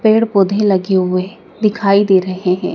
पेड़ पौधे लगे हुए दिखाई दे रहे हैं।